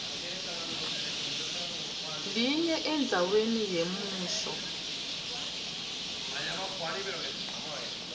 linye endzaweni yemusho